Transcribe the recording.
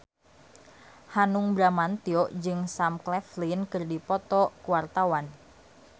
Hanung Bramantyo jeung Sam Claflin keur dipoto ku wartawan